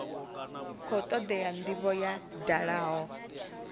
khou todea ndivho ya dalaho